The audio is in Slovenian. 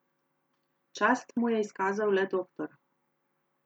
Čast mu je izkazal le doktor.